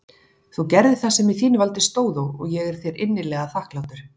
Þú gerðir það sem í þínu valdi stóð og ég er þér innilega þakklátur.